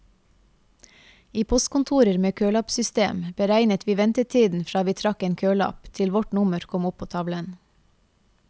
I postkontorer med kølappsystem beregnet vi ventetiden fra vi trakk en kølapp til vårt nummer kom opp på tavlen.